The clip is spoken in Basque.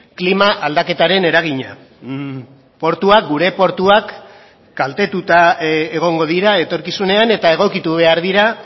klima aldaketaren eragina portuak gure portuak kaltetuta egongo dira etorkizunean eta egokitu behar dira